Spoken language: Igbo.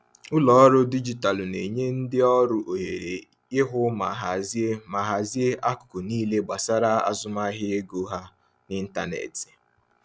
Ụlọ ọrụ dijitalụ na-enye ndị ọrụ ohere ịhụ ma hazie ma hazie akụkọ niile gbasara azụmahịa ego ha n’ịntanetị.